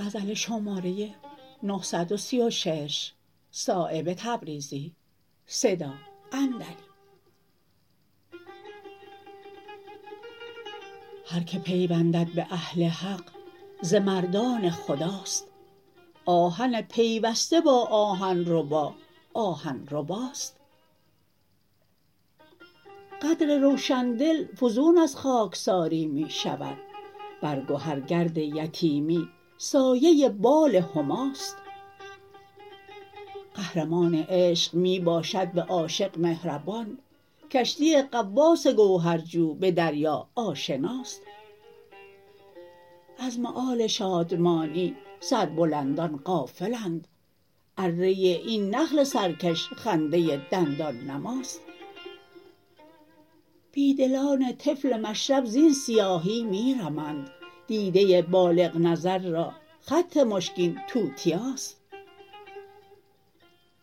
هر که پیوندد به اهل حق ز مردان خداست آهن پیوسته با آهن ربا آهن رباست قدر روشندل فزون از خاکساری می شود بر گهر گرد یتیمی سایه بال هماست قهرمان عشق می باشد به عاشق مهربان کشتی غواص گوهر جو به دریا آشناست از مآل شادمانی سربلندان غافلند اره این نخل سرکش خنده دندان نماست بی دلان طفل مشرب زین سیاهی می رمند دیده بالغ نظر را خط مشکین توتیاست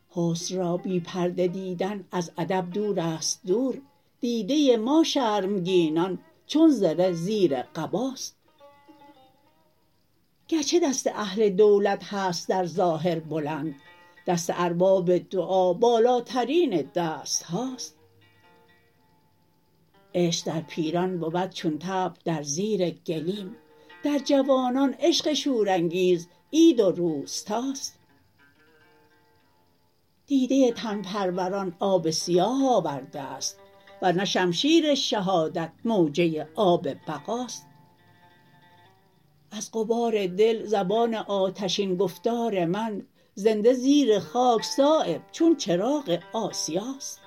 حسن را بی پرده دیدن از ادب دورست دور دیده ما شرمگینان چون زره زیر قباست گرچه دست اهل دولت هست در ظاهر بلند دست ارباب دعا بالاترین دستهاست عشق در پیران بود چون طبل در زیر گلیم در جوانان عشق شورانگیز عید و روستاست دیده تن پروران آب سیاه آورده است ورنه شمشیر شهادت موجه آب بقاست از غبار دل زبان آتشین گفتار من زنده زیر خاک صایب چون چراغ آسیاست